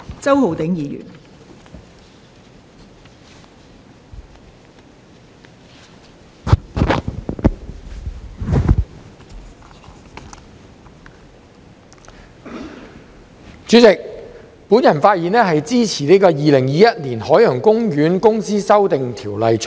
代理主席，我發言支持《2021年海洋公園公司條例草案》。